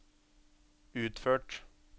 utført